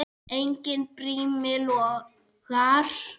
Enginn brími logar.